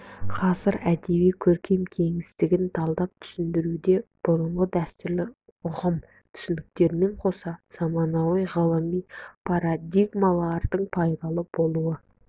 ғасыр әдеби көркем кеңістігін талдап түсіндіруде бұрынғы дәстүрлі ұғым түсініктермен қоса заманауи ғылыми парадигмалардың пайда болуы